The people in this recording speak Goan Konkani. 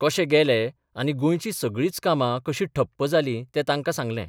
कशे गेले आनी गोंयचीं सगळींच कामां कशी ठप्प जालीं तें तांकां सांगलें.